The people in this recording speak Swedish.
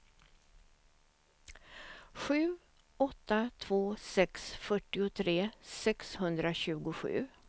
sju åtta två sex fyrtiotre sexhundratjugosju